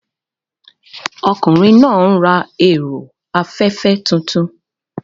Ọkùnrin náà ń ra ẹ̀rọ afẹ́fẹ́ tuntun.